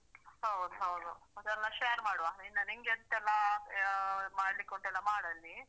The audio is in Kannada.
ಹೌದ್ ಹೌದು ಮತ್ತೆ ಎಲ್ಲ share ಮಾಡುವ ಇನ್ನ ನಿನ್ಗೆ ಎಷ್ಟಲ್ಲಾ ಹ ಮಾಡ್ಲಿಕ್ಕೆ ಉಂಟೆಲ್ಲ ಮಾಡು ಅಲ್ಲಿ.